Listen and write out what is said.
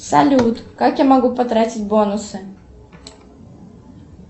салют как я могу потратить бонусы